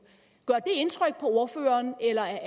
gør indtryk på ordføreren eller